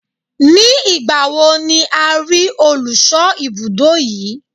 Ní ìgbà wo ni a rí olùṣọ́ ibùdó yí?